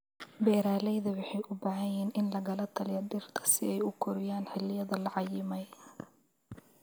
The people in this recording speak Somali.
Beeralayda waxay u baahan yihiin in lagala taliyo dhirta si ay u koraan xilliyada la cayimay.